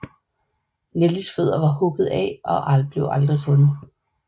Nellies fødder var hugget af og blev aldrig fundet